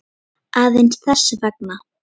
Aðeins þess vegna.